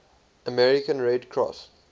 american red cross